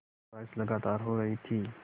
बारिश लगातार हो रही थी